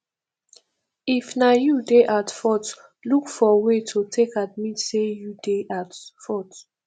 if na you dey at fault look for way to take admit sey you dey at fault